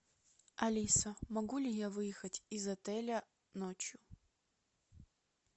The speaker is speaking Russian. алиса могу ли я выехать из отеля ночью